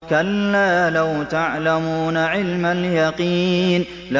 كَلَّا لَوْ تَعْلَمُونَ عِلْمَ الْيَقِينِ